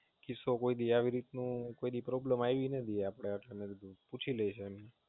કિસ્સો કોઈદી આવી રીતનું કોઈદી Problem આવી નથી આટલા Time માં પૂછી લઈશું એમને.